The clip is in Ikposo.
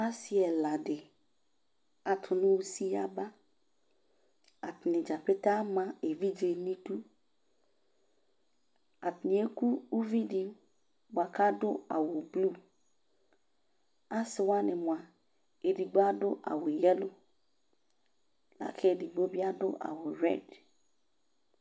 Ase ɛla de ato no usi yabaAtane dzapete ama evidze nedu, Atane eku uvi de boa kado awu bluAse wane moa, edigbo ado awu yelo la kedigbo be ado awu rɛd